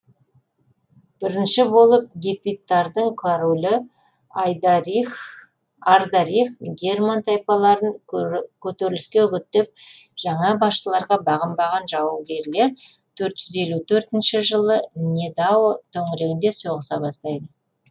бірінші болып гепидтардың королі ардарих герман тайпаларын көтеріліске үгіттеп жаңа басшыларға бағынбаған жаугерлер төрт жүз елу төртінші жылы недао төңірегінде соғыса бастайды